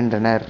என்றனர்